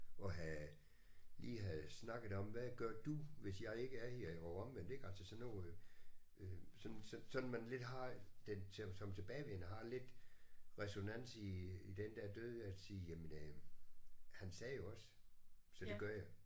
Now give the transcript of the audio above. At have lige have snakket om hvad gør du hvis jeg ikke er her og omvendt ik altså sådan noget øh sådan sådan man lidt har den som tilbagevendende har lidt ræsonans i i den der død at sige jamen øh han sagde jo også så det gør jeg